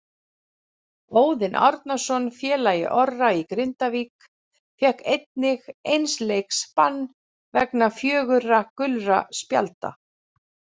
Óðinn Árnason félagi Orra í Grindavík fékk einnig eins leiks bann vegna fjögurra gulra spjalda.